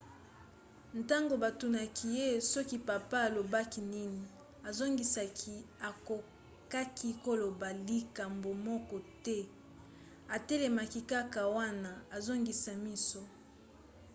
ntango batunaki ye soki papa alobaki nini azongisaki akokaki koloba likambo moko te - atelemaki kaka wana azoningisa miso.